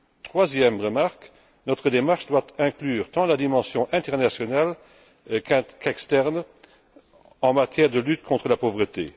Troisième remarque notre démarche doit inclure tant la dimension internationale que la dimension externe en matière de lutte contre la pauvreté.